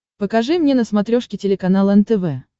покажи мне на смотрешке телеканал нтв